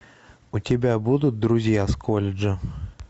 у тебя будут друзья с колледжа